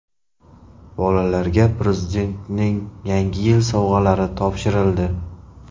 Bolalarga Prezidentning Yangi yil sovg‘alari topshirildi.